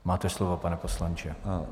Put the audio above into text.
Máte slovo, pane poslanče.